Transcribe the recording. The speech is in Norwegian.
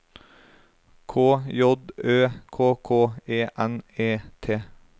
K J Ø K K E N E T